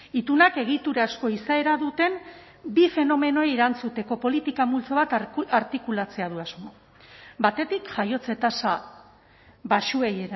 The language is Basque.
itunak egiturazko izaera duten bi fenomenoei erantzuteko politika multzo bat artikulatzea du asmo batetik jaiotze tasa baxuei